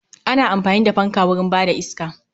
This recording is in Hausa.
Ana amfani da fanka wurin ba da iska